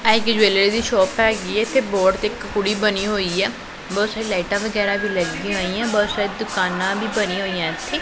ਇਹ ਇੱਕ ਜੁਲਰੀ ਦੀ ਸ਼ੋਪ ਹੈਗੀ ਹੈ ਤੇ ਬੋਰਡ ਤੇ ਇੱਕ ਕੁੜੀ ਬਣੀ ਹੋਈ ਹੈ ਬਹੁਤ ਸਾਰੀ ਲਾਈਟਾਂ ਵਗੈਰਾ ਵੀ ਲੱਗੀਆਂ ਹੋਈਆਂ ਬਹੁਤ ਸਾਰੀ ਦੁਕਾਨਾਂ ਵੀ ਬਣੀਆਂ ਹੋਈਆਂ ਇੱਥੇ।